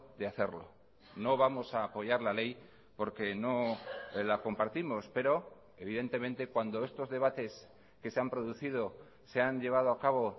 de hacerlo no vamos a apoyar la ley porque no la compartimos pero evidentemente cuando estos debates que se han producido se han llevado a cabo